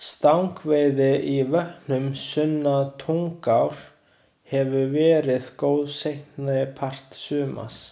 Stangveiði í vötnum sunnan Tungnár hefur verið góð seinni part sumars.